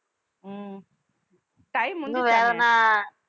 உம் time முடிஞ்சுருச்சா~